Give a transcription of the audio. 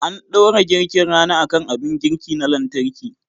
An dora girkin rana akan abin girki na lantarki